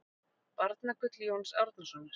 Barnagull Jóns Árnasonar